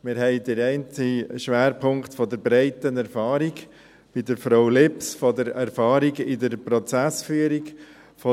Wir haben den einen Schwerpunkt der breiten Erfahrung bei Frau Lips, der Erfahrung in der Prozessführung,